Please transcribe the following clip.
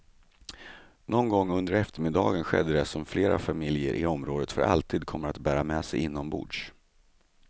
Någon gång under eftermiddagen skedde det som flera familjer i området för alltid kommer att bära med sig inombords.